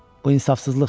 Bu insafsızlıqdır.